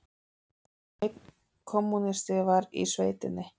Einn kommúnisti var í sveitinni.